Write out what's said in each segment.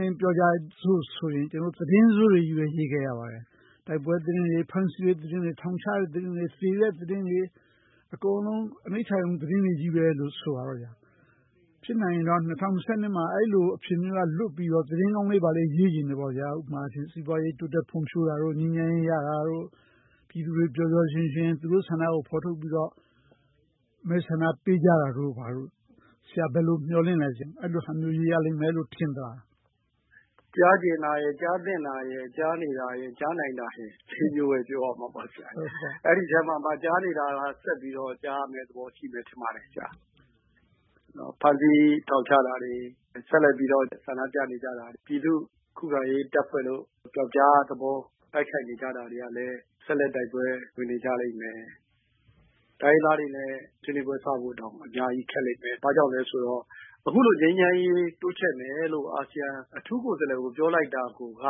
လင်း ပြောကြစို့ဆိုရင် သတင်းဆိုးတွေပဲ ရေးခဲ့ကြရပါတယ်။ တိုက်ပွဲ သတင်းတွေ၊ ဖမ်းဆီးတဲ့သတင်းတွေ၊ ထောင်ချတဲ့သတင်းတွေ၊ သေတဲ့သတင်းတွေ အကုန်လုံး အနိဌာရုံ သတင်းတွေလိုပဲ ဆိုပါတော့ဗျာ။ ဖြစ်နိုင်ရင်တော့ ၂၀၂၂ မှာတော့ အဲဒီလိုအခြေအနေက လွတ်ပြီး တော့မှ သတင်းကောင်းလေး ဘာလေးတွေ ရေးချင်တယ်။ ဥပမာ စီးပွားရေး တိုးတက်ဖွံ့ဖြိုးတာ၊ ငြိမ်းချမ်းရေး ရတာ၊ ပြည်သူတွေ ပျော်ပျော်ရွှင်ရွှင်နဲ့ သူတို့ဆန္ဒကို ဖော်ထုတ်ပြီးတော့ မဲဆန္ဒပေးကြတာတို့ ဘာတို့ ဆရာ ဘယ်လို မျှော်လင့်သလဲ။ အဲဒီလိုဟာမျိုး ရေးရလိမ့်မယ်လို့ ထင်သလား။ ကြားချင်တာရယ်၊ ကြားသင့်တာရယ်၊ ကြားနေတာရယ်၊ ကြားနိုင်တာရယ် မျိုးပဲ ပြောရမှာပေါ့။ အဲဒီအထဲမှာမှ ကြားနေတာက ဆက်ပြီးတော့ ကြားရမယ့်သဘောရှိမယ် ထင်ပါတယ်။ ဖမ်းဆီးထောင်ချ တာတွေ၊ ဆက်လက်ပြီးတော့ ဆန္ဒပြနေတာတွေ၊ ပြည်သူ့ခုခံရေးတပ်ဖွဲ့လို့ ပြောက်ကျားသဘော တိုက်ခိုက် နေတာတွေကလည်း ဆက်လက်တိုက်ပွဲဝင်နေကြလိမ့်မယ်။ တိုင်းရင်းသားတွေနဲ့ ဆွေးနွေးပွဲစဖို့တောင် အများကြီးခက်လိမ့်မယ်။ ဘာကြောင့်လဲဆိုတော့ အခုလို ငြိမ်းချမ်းရေးတိုးချဲ့မယ်လို့ အာဆီယံ အထူး ကိုယ်စားလှယ်ကို ပြောလိုက်တာကိုက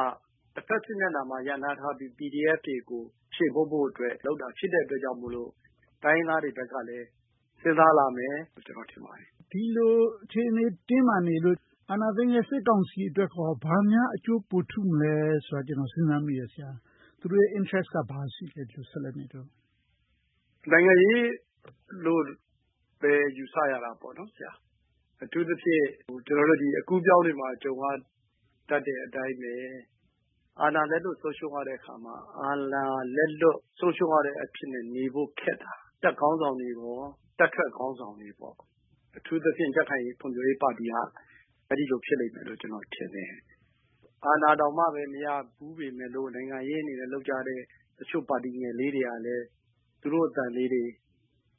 တဘက်စစ်မျက်နှာမှာ ရပ်နားထားတဲ့ PDF တွေကို ချေးမှုန်းဖို့အတွက် လုပ်တာဖြစ်တဲ့အတွက်ကြောင့်မို့ တိုင်းရင်းသားတွေဘက်ကလည်း စဉ်းစားလာမယ်လို့ ကျနော် ထင်ပါတယ်။ ဒီလိုအခြေအနေ တင်းမာနေလို့ အာဏာသိမ်းတဲ့ စစ်ကောင်စီအတွက်ကော ဘာများအကျိုးပိုထူး မလဲဆိုတာကို ကျနော် စဉ်းစားမိတယ်။ သူတို့ရဲ့ interest က ဘာရှိလဲ။ ဒီလိုဆက်လက်နေလို့။ နိုင်ငံရေးလို့ပဲ ယူဆရတာပေါ့။ အထူးသဖြင့် ကျနော်တို့ အကူးအပြောင်းတွေမှာ ကြုံရတတ်တဲ့အတိုင်းပဲ အာဏာလက်လွတ်ဆုံးရှုံးတဲ့အခါမှာ အာဏာလက်လွတ်အဖြစ်နဲ့ နေဖို့ခက်တာ။ တပ်ခေါင်းဆောင်တွေနဲ့ တပ်ထွက် ခေါင်းဆောင်တွေ။ အထူးသဖြင့် ကြံ့ခိုင်ရေးနဲ့ ဖွံ့ဖြိုးရေးပါတီက အဲဒီလိုဖြစ်လိမ့်မယ်လို့ ကျနော် ထင်တယ်။ အာဏာတောင်မှ မရဘူးပေမဲ့လို့ နိုင်ငံရေးအနေနဲ့ လုပ်ကြတဲ့ တချို့ပါတီငယ်လေးတွေကလည်း သူတို့အသံလေးတွေ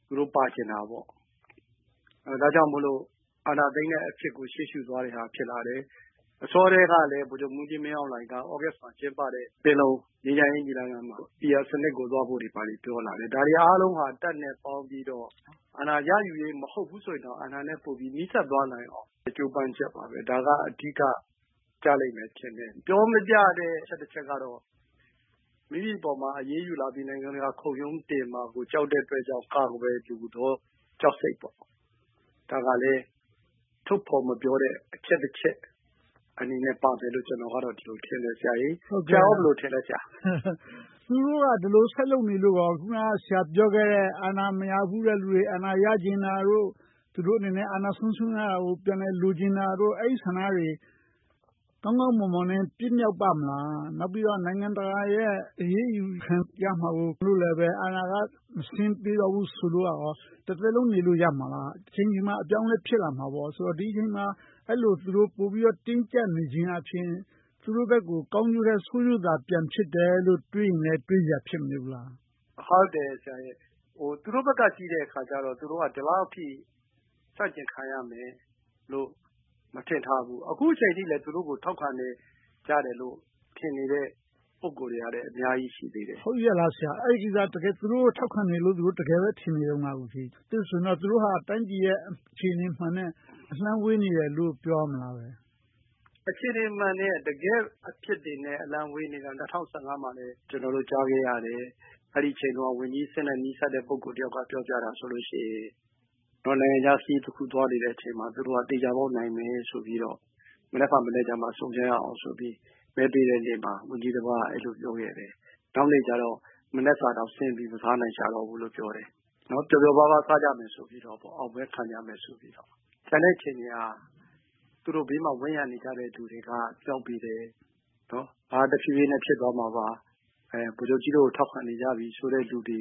သူတို့ပါချင်တာပေါ့။ ဒါကြောင့်မို့လို့ အာဏာသိမ်းတဲ့အဖြစ်ကို ရှေ့ရှုသွားတဲ့ဟာ ဖြစ်လာတယ်။ အစောကတည်းကလည်း ဗိုလ်ချုပ်မှူးကြီးမင်းအောင်လှိုင်က သြဂုတ်လမှာ ကျင်းပခဲ့တဲ့ ပင်လုံ ငြိမ်းချမ်းရေးညီလာခံမှာ PR စနစ်တွေ ဘာတွေ သွားဖို့ကို ပြောလာတယ်။ ဒီဟာတွေအားလုံးဟာ တပ်နဲ့ ပေါင်းပြီးတော့ အာဏာရယူရေး မဟုတ်ဘူးဆိုရင်တောင် အာဏာနဲ့ပိုပြီးတော့ နီးစပ်သွားနိုင်အောင် ကြိုးပမ်းချက်ပါပဲ။ ဒါက အဓိကကျလိမ့်မယ်ထင်တယ်။ ပြောမပြတဲ့ အချက်တချက်ကတော့ မိမိအပေါ် အရေးယူလာပြီး၊ နိုင်ငံတကာခုရုံးတင်မှာကို ကြောက်တဲ့အတွက်ကြောင့် အဲဒီကြောက်စိတ်ပေါ့။ ဒါကလဲ ထုတ်ဖော်မပြောတဲ့ အချက်တစ်ချက်အနေနဲ့ ပါမယ်လို့ ကျနော်က ဒီလိုထင်တယ်။ ဆရာကော ဘယ်လိုထင်သလဲ။ သူတို့က ဒီလိုဆက်လုပ်နေလို့ကော အခုန ဆရာပြောခဲ့တဲ့ အာဏာမရဘူးတဲ့လူတွေ အာဏာရ ချင်တာတို့။ သူတို့အနေနဲ့ အာဏာဆုံးရှုံးရတာကို ပြန်လည်လိုချင်တာတို့၊ အဲဒီဆန္ဒတွေ ကောင်းကောင်း မွန်မွန်နဲ့ ပြည့်မြောက်ပါ့မလား။ နောက်ပြီးတော့ နိုင်ငံတကာရဲ့ အရေးယူခံရမှာမို့ အာဏာက မဆင်းပေးတော့ ဘူးဆိုလိုကော တသက်လုံးနေလို့ ရမလား။ တချိန်ချိန်မှာ အပြောင်းအလဲ ဖြစ်လာမှာပေါ့။ ဒီအချိန်မှာ အဲဒီလို သူတို့ ပိုပြီးတော့ တင်းကျပ်နေခြင်းအားဖြင့် သူတို့ဘက်ကို ကောင်းကျိုးထက် ဆိုးကျိုးသာ ပြန်ဖြစ်တယ်လို့ တွေးရင် တွေးစရာ ဖြစ်မနေဘူးလား။ ဟုတ်တယ် ဆရာ။ သူတို့ဘက်က ကြည့်တဲ့အခါကြတော့ သူတို့က ဒီလောက်အထိ ဆန့်ကျင်ခံရမယ်လို့ မထင်ထားဘူး။ အခုအချိန်အထိလဲ သူတို့ကို ထောက်ခံကြတယ်လို့ ထင်နေတဲ့ ပုဂ္ဂိုလ်တွေကလည်း အများကြီး ရှိတယ်။ ဟုတ်ရဲ့လား ဆရာ။ အဲဒီကိစ္စ သူတို့ကို တကယ်ထောက်ခံနေတယ်လို့ တကယ်ပဲ သူတို့ထင်နေ သလား။ အဲဒါဆိုရင် သူတို့ဟာ တိုင်းပြည်ရဲ့ အခြေအနေမှန်နဲ့ အလှမ်းဝေးနေတယ်လို့ ပြောရမလားဘဲ။ အခြေအနေမှန်နဲ့ တကယ့်အဖြစ်တွေနဲ့ အလှမ်းဝေးနေတာ ၂၀၁၅ မှာလည်း ကျနော်တို့ ကြားခဲ့ရတယ်။ အဲဒီအချိန်တုန်းက ဝန်ကြီးအဆင့်နဲ့ နီးစပ်တဲ့ ပုဂ္ဂိုလ်တစ်ယောက်က ပြောပြတာဆိုရင် နိုင်ငံခြားတခု သွားနေ တဲ့အချိန်မှာ သူတို့က သေချာပေါက် နိုင်မယ်ဆိုပြီးတော့ မနက်ဖြန်မနက်မှ ဆုံကြရအောင်ဆိုပြီး မဲပေးတဲ့နေ့မှာ ဝန်ကြီးတပါးက အဲဒီလို ပြောခဲ့တယ်။ နောက်နေ့ကျတော့ မနက်စာတောင်ဆင်းပြီး မစားနိုင်တော့ဘူးလို့ ပြောတယ်။ ပျော်ပျော်ပါးပါး စားကြမယ်၊ အောင်ပွဲခံမယ်ဆိုပြီးတော့ ပြောခဲ့တာ။ ကျန်တဲ့အချိန်ဟာ သူတို့နားမှာ ဝန်းရံပြီးတော့နေကြတဲ့ လူတွေက မြှောက်ပေးတယ်၊ တဖြည်းဖြည်းနဲ့ ဖြစ်သွားမှာပါ၊ ဗိုလ်ချုပ်ကြီးတို့ကို ထောက်ခံနေကြပြီဆိုတဲ့ လူတွေ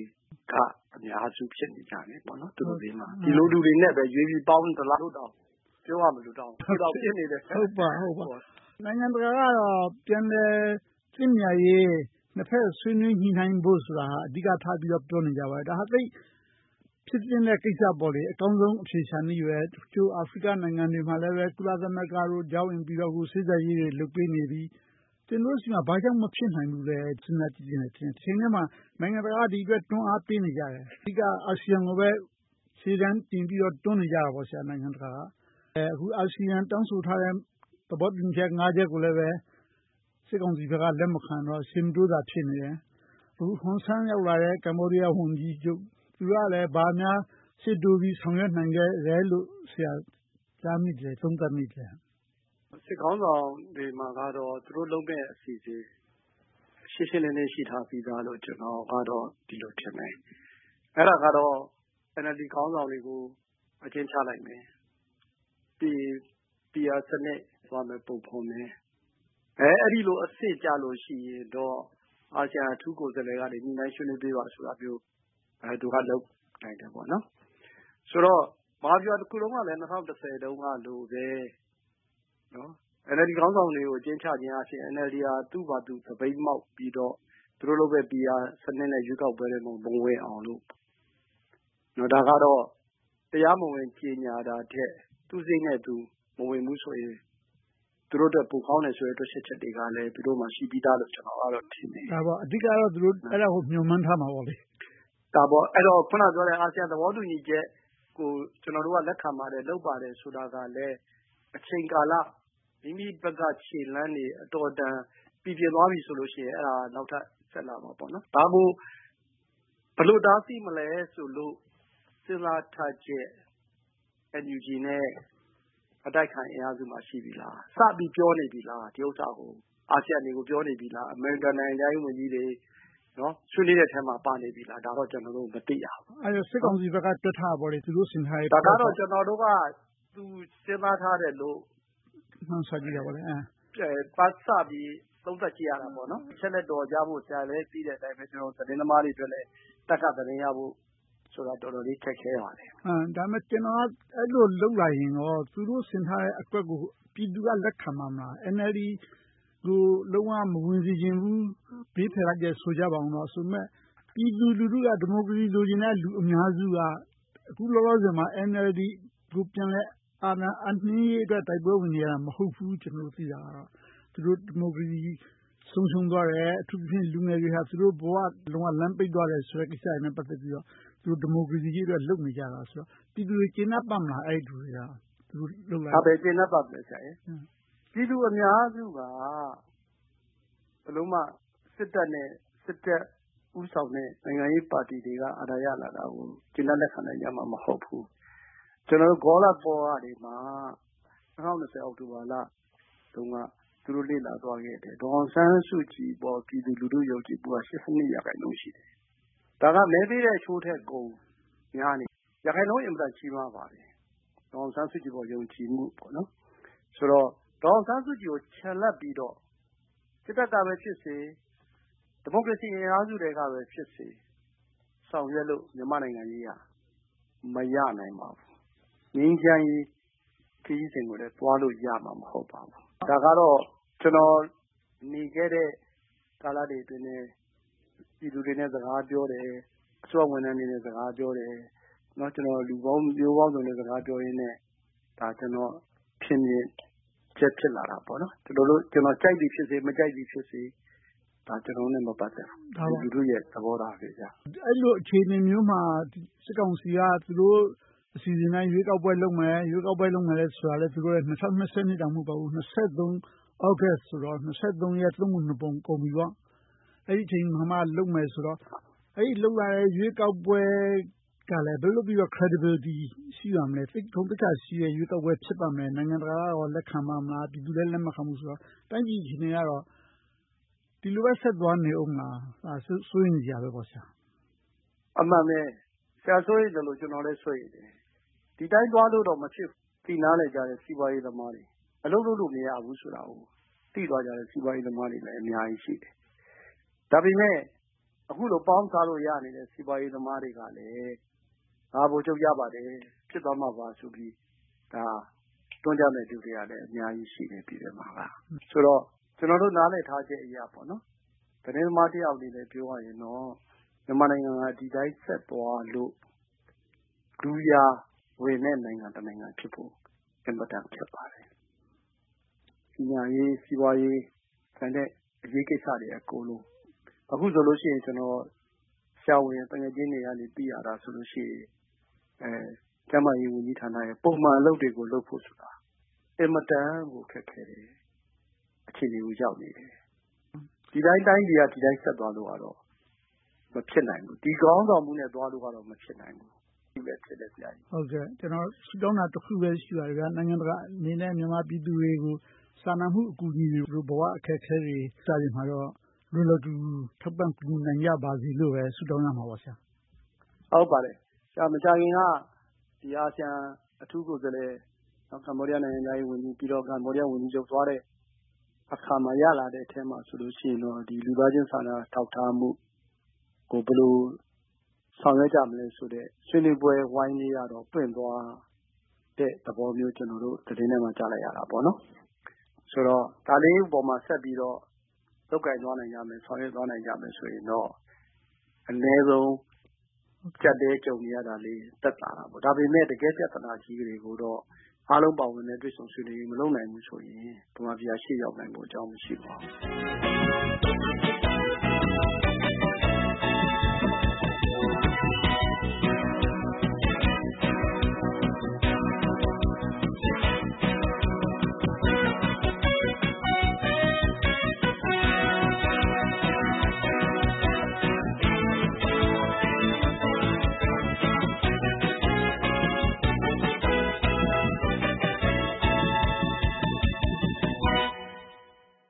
က အများစုဖြစ်နေကြတယ်။ ဒီလိုလူတွေကိုသာ ရွေးပြီးတော့ ပေါင်းနေသလား လို့တောင် ပြောရမလို ဖြစ်နေတယ်။ နိုင်ငံတကာကတော့ ပြန်လည်သင့်မြတ်ရေး၊ နှစ်ဘက်ဆွေးနွေးညှိနှိုင်းဖို့ဆိုတာကို အဓိကထား ပြောနေကြပါတယ်။ ဒါက သိပ်ဖြစ်သင့်တဲ့ကိစ္စပေါ့။ အကောင်းဆုံး အဖြေရှာနည်းပဲ။ အချို့ အာဖရိက နိုင်ငံတွေမှာလဲ ကုလသမဂ္ဂတို့ ကြားဝင်ပြီးတော့ စေ့စပ်ရေးတွေ လုပ်ပေးနေပြီ။ ကျနော်တို့ဆီမှာ ဘာကြောင့် မဖြစ်နိုင်ဘူးလဲ စဉ်းစားကြည့်ချင်တယ်။ တချိန်တည်းမှာ နိုင်ငံတကာက ဒီအတွက် တွန်းအားပေးနေကြတယ်။ အဓိကတော့ အာဆီယံကိုပဲ ရှေ့တန်းတင်ပြီးတော့ နိုင်ငံတကာက တွန်းနေကြတယ်။ အခု အာဆီယံ တောင်း ဆို ထားတဲ့ သဘောတူညီချက် ချက်ကိုလည်း စစ်ကောင်စီဘက်က လက်မခံတော့၊ ရှေ့မတိုးသာ ဖြစ်နေ တယ်။ အခု ကမ္ဘောဒီးယားဝန်ကြီး ဟွန်ဆန် ရောက်လာတယ်။ သူကလဲ ဘာများရှေ့တိုးပြီး ဆောင်ရွက် နိုင်ခဲ့သလဲလို့ ကြားမိသလဲ။ သုံးသပ်မိသလဲ။ စစ်ခေါင်းဆောင်တွေမှာတော့ သူတို့လုပ်မယ့် အစီအစဉ်တွေ ရှင်းရှင်းလင်းလင်း ရှိထားပြီသားလို့တော့ ကျနော်ကတော့ ဒီလိုထင်တယ်။ အဲဒါကတော့ NLD ခေါင်းဆောင်တွေကို အကျဉ်းချလိုက်မယ်။ ပြီးရင် PR စနစ် သွားမယ့်ပုံကို ဖော်မယ်။ အဲဒီလိုအဆင့်ကျလို့ရှိရင်တော့ အာဆီယံအထူးကိုယ်စားလှယ်က ညှိနှိုင်းဆွေးနွေး ပေးပါဆိုတာမျိုး သူတို့က လုပ်နိုင်တယ်။ ဆိုတော့ မဟာဗျူဟာတစ်ခုလုံးကလည်း ၂၀၁၀ တုန်းကလိုပဲ NLD ခေါင်းဆောင်တွေကို အကျဉ်းချုပ်အားဖြင့် NLD က သူ့ဟာသူ သပိတ်မှောက်ပြီးတော့ သူတို့လုပ်မယ့် PR စနစ်နဲ့ ရွေးကောက်ပွဲထဲ မဝင်အောင်လို့။ ဒါကတော့ တရားမဝင် ကြေညာတာထက် သူ့စရိတ်နဲ့သူ မဝင်ဘူး ဆိုရင် သူတို့အတွက် ပိုကောင်းတယ်ဆိုတဲ့ တွက်ချက်ချက်တွေကလဲ သူတို့မှာ ရှိပြီသားလို့ ကျနော်က ထင်တယ်။ အဓိကတော့ အဲဒါကို သူတို့ မျှော်မှန်းထားမှာပေါ့။ ဒါပေါ့… အဲဒီတော့ အခုနပြောထားတဲ့ အာဆီယံ သဘောတူညီချက်ကို ကျနော်တို့က လက်ခံပါတယ်။ လုပ်ပါတယ်ဆိုတာကလဲ အချိန်ကာလ။ မိမိဘက်က ခြေလှမ်းတွေ အတော်အတန် ပြီပြင်သွားပြီဆိုလို့ရှိရင် အဲဒါ နောက်ထပ်ဆက်လာမှာပေါ့။ ဒါကို ဘယ်လိုတားဆီးမလဲဆိုလို့ စဉ်းစားထားချက်၊ NUG နဲ့ အတိုက်အခံ အင်အားစုတွေမှာ ရှိပြီလား။ စပြီးပြောနေပြီလား။ အာဆီယံတွေကို ပြောနေပြီလား။ အမေရိကန်နိုင်ငံခြားရေး ဝန်ကြီးတွေ ဆွေးနွေးမယ့်အထဲမှာ ပါနေပြီလား။ ဒါကိုတော့ ကျနော်တို့ မသိရဘူး။ အဲဒါက စစ်ကောင်စီဘက်က တွက်ထားတာပေါ့။ သူတို့ဆင်ထားတာပေါ့။ ဒါကတော့ ကျနော်တို့က သူ စဉ်းစားထားတယ်လို့ မှန်းဆပြီး၊ သုံးသပ်ကြည့်တာပါ။ အချက်အလက် အတော်ရဖို့ ဆရာလည်း သိတဲ့အတိုင်းပဲ။ သတင်းသမားအတွက်လည်း တပ်က သတင်းရဖို့ဆိုတာ တော်တော်လေး ခက်ခဲပါတယ်။ ဒါပေမဲ့ အဲဒီလို လုပ်လာရင်ကော သူတို့ဆင်ထားတဲ့အကွက်ကို ပြည်သူက လက်ခံပါ့မလား။ NLD ကို လုံးဝမဝင်စေချင်ဘူး၊ ဘေးဖယ်လိုက်တယ် ဆိုကြပါအုံးတော့ ပြည်သူလူထုက ဒီမိုကရေစီ လိုချင်တဲ့ အများစုက အခုလောလောဆယ်မှာ NLD ကို ပြန်လည်အာဏာအပ်နှင်းရေးအတွက် တိုက်ပွဲဝင်နေကြတာ မဟုတ်ဘူး ဆိုတာ ကျနော် သိနေကြတယ်။ သူတို့ရဲ့ ဒီမိုကရေစီ ဆုံးရှုံးသွားတယ်။ အထူးသဖြင့် လူငယ်တွေဟာ သူတို့ ဘဝ လမ်းပိတ်သွားတယ်ဆိုတဲ့ ကိစ္စတွေနဲ့ ပတ်သက်ပြီးတော့၊ သူတို့ ဒီမိုကရေစီရေးအတွက် လုပ်နေကြတယ်ဆိုတော့ ပြည်သူတွေ ကျေနပ်ပါ့မလား။ ဘယ်ကျေနပ်ပါ့မလဲ ဆရာရယ်။ ပြည်သူအများစုက ဘယ်လိုမှ စစ်တပ်နဲ့ စစ်တပ်ဦးဆောင်တဲ့ နိုင်ငံရေး ပါတီတွေက အာဏာရလာတာကို ကျေနပ်လက်ခံကြမှာ မဟုတ်ဘူး။ ကျနော်တို့ Gallup Poll တွေ ၂၀၂၀ အောက်တိုဘာလတုန်းက သူတို့လေ့လာသွားခဲ့တယ်။ ဒေါ်အောင်ဆန်းစုကြည်အပေါ် ပြည်သူလူထု ယုံကြည်မှု က ရာခိုင်နှုန်း ရှိတယ်။ ဒါက မဲပေးတဲ့အချိုးထက်ကို များနေတယ်။ ရာခိုင်နှုန်း အင်မတန်ကြီးမားပါတယ်။ ဒေါ်အောင်ဆန်းစုကြည်အပေါ် ယုံကြည်မှု။ ဆိုတော့ ဒေါ်အောင်ဆန်းစုကြည်ကို ချန်လှပ်ပြီးတော့ စစ်တပ်ကပဲ ဖြစ်စေ၊ ဒီမိုကရေစီအင်အားစုထဲကပဲဖြစ်စေ ဆောင်ရွက်လို့ မြန်မာ့နိုင်ငံရေးက မရနိုင်ပါဘူး။ ငြိမ်းချမ်းရေး ခရီးစဉ်ကိုလည်း သွားလို့ရမှာ မဟုတ်ပါဘူး။ ဒါကတော့ ကျနော်နေခဲ့တဲ့ ကာလတွေအတွင်းထဲ ပြည်သူတွေနဲ့ စကားပြောတယ်။ အစိုးရဝန်ထမ်းတွေနဲ့ စကားပြောတယ်။ လူပေါင်းမျိုးစုံနဲ့ စကားပြောရင်နဲ့ ကျနော့်ရဲ့ ထင်မြင်ချက် ဖြစ်လာတာပေါ့။ ကျနော် ကြိုက်သည်ဖြစ်စေ၊ မကြိုက်သည်ဖြစ်စေ ဒါက ကျနော်တို့နဲ့ မပတ်သက်ဘူး။ လူထုရဲ့ သဘောထားပဲ။ အဲဒီလို အခြေအနေမျိုးမှာ စစ်ကောင်စီက သူတို့အစီအစဉ်အတိုင်း ရွေးကောက်ပွဲလုပ်မယ်ဆိုတာက ၂၀၂၂ တောင်မှ မဟုတ်ဘူး၊ ၂၀၂၃ သြဂုတ်လဆိုတော့ ၂၀၂၃ ရဲ့ သုံးပုံတပုံ ကုန်ပြီပေါ့။ အဲဒီအချိန်အခါမှာမှ လုပ်မယ်ဆိုတော့ အဲဒီလုပ်လာတဲ့ ရွေးကောက်ပွဲကလဲ ဘယ်လိုလုပ်ပြီးတော့ credibility ရှိပါ့မလဲ။ သိပ် ဂုဏ်သိက္ခာရှိတဲ့ ရွေးကောက်ပွဲ ဖြစ်ပါ့မလား။ နိုင်ငံတကာကကော လက်ခံပါ့မလား။ ပြည်သူလည်း လက်မခံဘူးဆိုတော့ တိုင်းပြည်အခြေအနေကတော့ ဒီလိုပဲ ဆက်သွားနေအုံးမလား။ စိုးရိမ်စရာပဲပေါ့။ အမှန်ပဲ။ ဆရာ စိုးရိမ်သလို၊ ကျနော်လည်း စိုးရိမ်တယ်။ ဒီအတိုင်းသွားလို့တော့ မဖြစ်ဘူးဆိုတာ သိနားလည်ကြတဲ့ စီးပွားရေးသမားတွေ အလုပ်လုပ်လို့ မရဘူးဆိုတာကို သိသွားကြတဲ့ စီးပွားရေးသမားတွေ အများကြီးရှိတယ်။ ဒါပေမဲ့ အခုလို ပေါင်းစားလို့ရနေတဲ့ စီးပွားရေးသမားတွေကတော့ ဒါ ဗိုလ်ချုပ်ရပါတယ်။ ဖြစ်သွားမှာပါဆိုပြီ တွန်းကြမယ်လူတွေကလည်း အများကြီးရှိတယ်။ ဆိုတော့ ကျနော်တို့ နားလည်ထားချက် အရ သတင်းသမားတစ်ယောက်အနေနဲ့ ပြောရရင်တော့ မြန်မာနိုင်ငံက ဒီအတိုင်းဆက်သွားလို့ကတော့ လူရာ ဝင်တဲ့ နိုင်ငံတစ်နိုင်ငံဖြစ်ဖို့ အင်မတန်ခက်ပါတယ်။ ပညာရေး၊ စီးပွားရေး၊ ကျန်တဲ့ အရေးကိစ္စတွေ အကုန်လုံး။ အခုဆိုရင် ဆရာဝန်သူငယ်ချင်းတွေက သိရတာဆိုရင် ကျန်းမာရေးဝန်ကြီးဌာနရဲ့ ပုံမှန်အလုပ်တွေကို လုပ်ဖို့ ဆိုတာ အင်မတန်ကို ခက်ခဲတဲ့ အခြေအနေကို ရောက်နေတယ်။ ဒီအတိုင်း တိုင်းပြည်က ဆက်သွားလို့ကတော့ မဖြစ်နိုင်ဘူး။ ဒီခေါင်းဆောင်မှုနဲ့ သွားလို့ကတော့ မဖြစ်နိုင်ဘူးလို့ ထင်တယ်။ ကျနော် ဆုတောင်းတာ တခုပဲ ရှိပါတယ်။ နိုင်ငံတကာအနေနဲ့ မြန်မာပြည်သူတွေကို စာနာမှု အကူအညီတွေ၊ ဘဝအခက်အခဲတွေမှာတော့ လွယ်လွယ်ကူကူ ထောက်ပံ့ကူညီနိုင်ကြပါစေလို့ပဲ ဆုတောင်းရမှာပေါ့။ ဟုတ်ပါတယ်။ မကြာခင်က အာဆီယံအထူးကိုယ်စားလှယ်၊ ကမ္ဘောဒီးယားနိုင်ငံခြားရေးဝန်ကြီး၊ ကမ္ဘောဒီးယားဝန်ကြီးချုပ်သွားတဲ့အခါမှာ ရလာတဲ့အထဲမှာတော့ လူသားချင်းစာနာထောက်ထားမှုကို ဘယ်လိုဆောင်ရွက်ကြမလဲဆိုတဲ့ ဆွေးနွေးပွဲဝိုင်းလေးကတော့ ပွင့်သွားတဲ့သဘောမျိုး ကျနော်တို့ သတင်း ထဲမှာ တွေ့လိုက်ရတယ်။ ဆိုတော့ ဒါလေးပေါ်မှာဆက်ပြီးတော့ လုပ်ကိုင်သွားနိုင်ကြမယ်။ ဆောင်ရွက်သွား နိုင်ကြမယ်ဆိုရင်တော့ အနည်းဆုံး အကျပ်အတည်းကြုံနေရတာလေး သက်သာတာပေါ့။ ဒါပေမဲ့ တကယ့် ပြဿနာကြီးတွေကိုတော့ အားလုံးပါဝင်တဲ့ တွေ့ဆုံဆွေးနွေးရေး မလုပ်နိုင်ဘူးဆိုရင် ဗမာပြည်က ရှေ့ ရောက်နိုင်ဖို့ အကြောင်းမရှိပါဘူး။